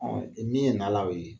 Ɔn e min ye na na la o ye